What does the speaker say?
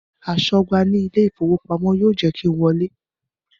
Aṣọ́gbà ní ilé ìfowópamọ́ yóò jẹ́ kí n wọlé